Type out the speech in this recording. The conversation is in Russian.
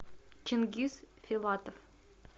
чингиз филатов